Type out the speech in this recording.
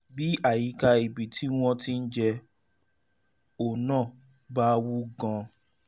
bí àyíká ibi um tí wọ́n ti jẹ ọ́ náà bá wú gan - an